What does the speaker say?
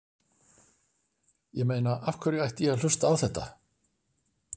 Ég meina af hverju ætti ég að hlusta á þetta?